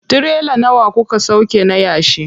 Tirela nawa kuka sauƙe na yashi?